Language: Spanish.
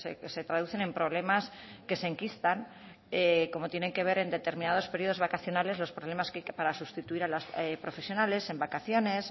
que se traducen en problemas que se enquistan como tienen que ver en determinados periodos vacacionales los problemas que hay para sustituir a las profesionales en vacaciones